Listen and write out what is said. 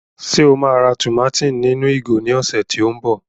Ṣe o ma rà tùmátìn ninu ìgò ni oṣù ti o mbọ?